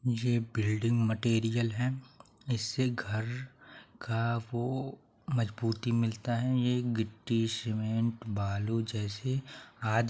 मुझे building material है इससे घर का वो मजबूती मिलता है यह मिट्टी सीमेंट बालू जैसे आदि --